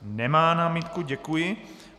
Nemá námitku, děkuji.